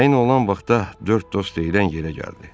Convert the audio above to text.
Təyin olunan vaxtda dörd dost deyilən yerə gəldi.